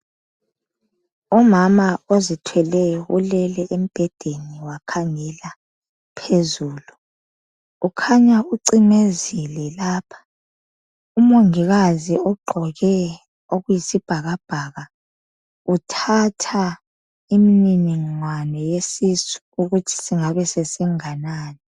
Umama ozithweleyo ulele embhedeni wakhangela phezulu. Ukhanya ucimezile lapha. Umongikazi ugqoke okuyisibhakabhaka, uthatha imniningwane yesisu ukuthi singabe sesinganani.